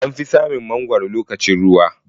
Anfi samun mangwaro lokacin ruwa.